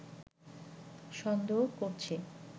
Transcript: সন্দেহ করছে